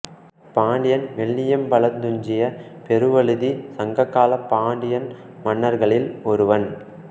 பாண்டியன் வெள்ளியம்பலத்துத் துஞ்சிய பெருவழுதி சங்ககாலப் பாண்டிய மன்னர்களில் ஒருவன்